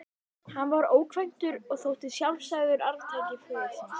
Hann var ókvæntur og þótti sjálfsagður arftaki föður síns.